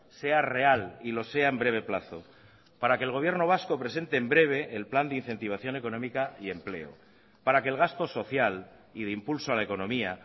sea real y lo sea en breve plazo para que el gobierno vasco presente en breve el plan de incentivación económica y empleo para que el gasto social y de impulso a la economía